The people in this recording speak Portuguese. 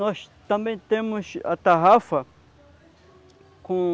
Nós também temos a tarrafa com